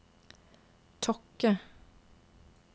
Tokke